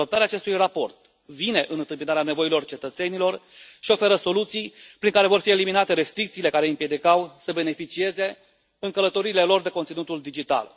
Adoptarea acestui raport vine în întâmpinarea nevoilor cetățenilor și oferă soluții prin care vor fi eliminate restricțiile care îi împiedicau să beneficieze în călătoriile lor de conținutul digital.